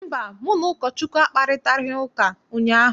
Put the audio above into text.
Mba, mụ na Ụkọchukwu akparịtaghị ụka ụnyaahụ.